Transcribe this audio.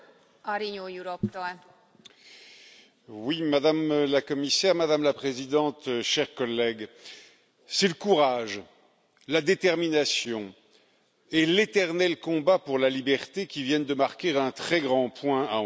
Madame la Présidente, Madame la Commissaire, chers collègues, c'est le courage, la détermination et l'éternel combat pour la liberté qui viennent de marquer un très grand point à Hong Kong.